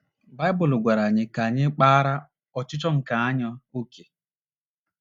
Baịbụl gwara anyị ka anyị kpaara “ ọchịchọ nke anya ” ókè.